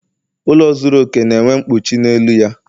Ụlọ zuru okè na-enwe mkpuchi n'elu ya